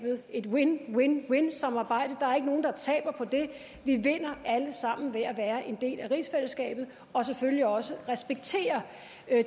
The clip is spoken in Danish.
et win win win samarbejde der er ikke nogen der taber på det vi vinder alle sammen ved at være en del af rigsfællesskabet og selvfølgelig også ved at respektere